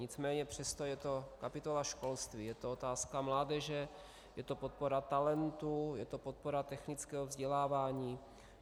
Nicméně přesto je to kapitola školství, je to otázka mládeže, je to podpora talentů, je to podpora technického vzdělávání.